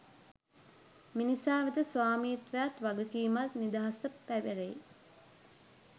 මිනිසා වෙත ස්වාමිත්වයත් වගකීමත් නිදහසත් පැවැරේ